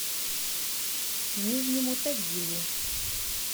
нижнему тагилу